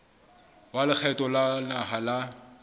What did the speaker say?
wa lekgotla la naha la